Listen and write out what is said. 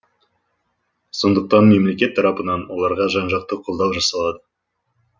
сондықтан мемлекет тарапынан оларға жан жақты қолдау жасалады